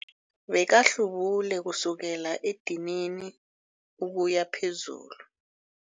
Bekahlubule kusukela edinini ukuya phezulu.